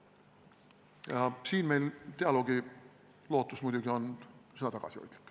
Selles osas on meil dialoogilootus muidugi üsna tagasihoidlik.